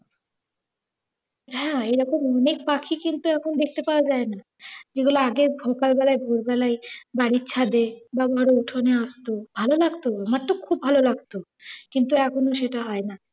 হ্যাঁ, এরকম অনেক পাখি কিন্তু এখন দেখতে পাওয়া যায়না। যেগুলো আগে সকালবেলায়, ভোরবেলায় বাড়ির ছাঁদে বা ধরো উঠোনে আসতো। ভালো লাগত, আমার তো খুব ভালো লাগত। কিন্তু এখন সেটা হয়না।